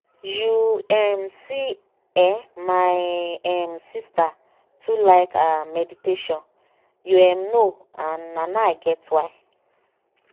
you em see eh my em sister too like ah meditation you em know and na now i get why.